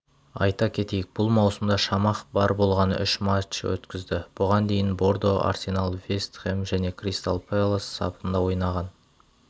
айта кетейік бұл маусымда шамах бар болғаны үш матч өткізді бұған дейін бордо арсенал вест хэм және кристал пэлас сапында ойнаған